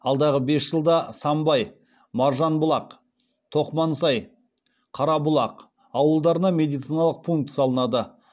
алдағы бес жылда самбай маржанбұлақ тоқмансай қарабұлақ ауылдарына медициналық пункт салынады